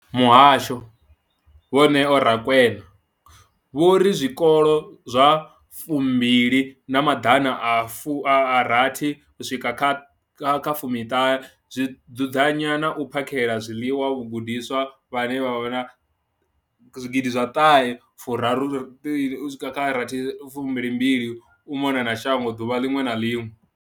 Muhasho, Vho Neo Rakwena, vho ri zwikolo zwa fumbili na maḓana a rathi u swika kha fumi ṱhahe zwi dzudzanya na u phakhela zwiḽiwa vhagudiswa vhane vhavha na zwigidi zwa ṱahe furaru u swika kha rathi fumbili mbili kha u mona na shango ḓuvha ḽiṅwe na ḽiṅwe.